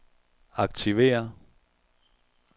aktiver